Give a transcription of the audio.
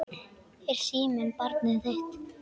Er síminn barnið þitt?